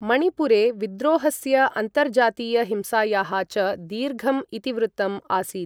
मणिपुरे विद्रोहस्य, अन्तर्जातीय हिंसायाः च दीर्घम् इतिवृत्तम् आसीत्।